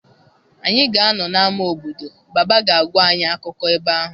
Anyị ga-anọ n'ama obodo Baba ga-agwa anyị akụkọ ebe ahụ.